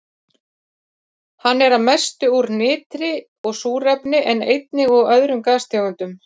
Hann er að mestu úr nitri og súrefni en einnig úr öðrum gastegundum.